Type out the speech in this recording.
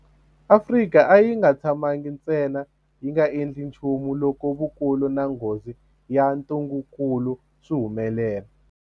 Afrika a yi nga tshamangi ntsena yi nga endli nchumu loko vukulu na nghozi ya ntungukulu swi humelela.